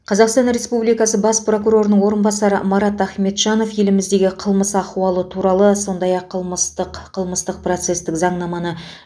қазақстан республикасы бас прокурорының орынбасары марат ахметжанов еліміздегі қылмыс ахуалы туралы сондай ақ қылмыстық қылмыстық процестік заңнаманы